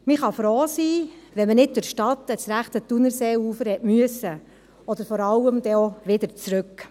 Man kann froh sein, wenn man nicht durch die Stadt ans rechte Thunerseeufer fahren musste oder vor allem auch wieder zurück.